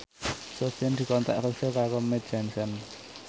Sofyan dikontrak kerja karo Mead Johnson